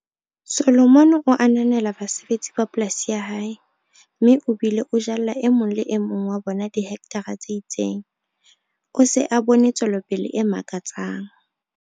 Solomon o ananela basebetsi ba polasi ya hae, mme o bile o jalla e mong le e mong wa bona dihekthara tse itseng. O se a bone tswelopele e makatsang.